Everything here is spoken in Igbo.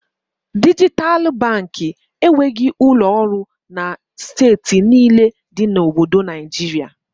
Dijital Baankị enweghị ụlọ ọrụ na steeti niile dị na Obodo Naịjiria